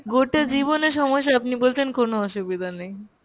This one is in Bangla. গোটা জীবনে সমস্যা আপনি বলছেন কোনো অসুবিধা নেই।